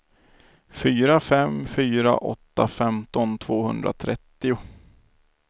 fyra fem fyra åtta femton tvåhundratrettio